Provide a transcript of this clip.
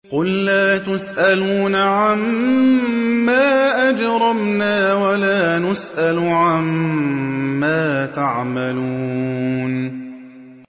قُل لَّا تُسْأَلُونَ عَمَّا أَجْرَمْنَا وَلَا نُسْأَلُ عَمَّا تَعْمَلُونَ